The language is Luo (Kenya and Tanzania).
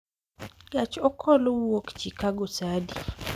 Gach okolo wuok chicago saa adi